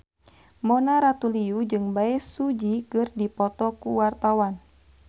Mona Ratuliu jeung Bae Su Ji keur dipoto ku wartawan